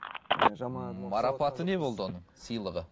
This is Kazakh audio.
марапаты не болды оның сыйлығы